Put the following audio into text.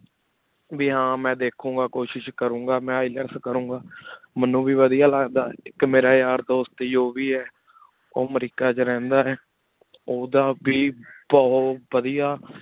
ਭੀ ਹਨ ਮੈ ਦੇਖੋ ਗਾ ਕੁਛ ਕਰੋਂ ਗਾ ਮੈਂ ILETS ਕਰੋਂ ਗਾ ਮੇਨੂ ਵੇ ਵਾਦਿਯ ਲਗਦਾ ਮੇਰਾ ਯਾਰ ਦੋਸਤ ਉਵ ਹੈ ਓਹ ਅਮਰੀਕਾ ਵਿਚ ਰਹੰਦਾ ਹੈ ਓਦਾ ਵੇ ਬੁਹਤ ਵਾਦਿਯ